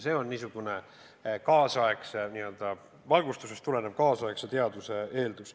See on niisugune n-ö valgustusest tulenev kaasaegse teaduse eeldus.